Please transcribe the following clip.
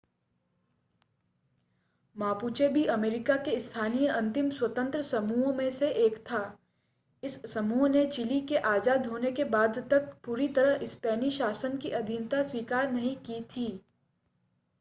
Mapuche भी America के स्थानीय अंतिम स्वतंत्र समूहों में से एक था इस समूह ने चिली के आज़ाद होने के बाद तक पूरी तरह स्पेनी शासन की आधीनता स्वीकार नहीं की थी